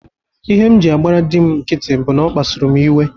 Ihe m jị agbara dị m nkiti bụ n'ọ kpasuru m iwe.